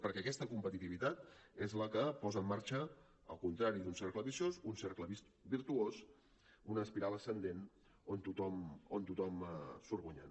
perquè aquesta competitivitat és la que posa en marxa al contrari d’un cercle viciós un cercle virtuós una espiral ascendent on tothom surt guanyant